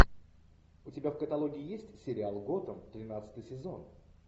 у тебя в каталоге есть сериал готэм тринадцатый сезон